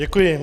Děkuji.